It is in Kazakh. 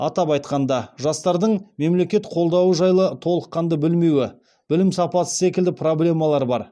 атап айтқанда жастардың мемлекет қолдауы жайлы толыққанды білмеуі білім сапасы секілді проблемалар бар